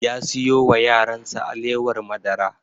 Ya siyo wa yaran sa alewar madara